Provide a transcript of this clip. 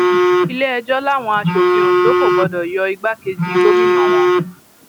iléẹjọ làwọn asòfin ondo kò gbọdọ yọ igbákejì gómìnà wọn